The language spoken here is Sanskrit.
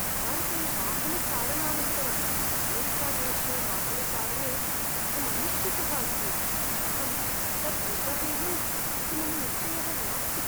भारते वाहनचालनानन्तरं अमेरिकादेशे वाहनचालने अहं अनिश्चितः अस्मि, अहं तत् निर्वहेयम् इति मम निश्चयः नास्ति।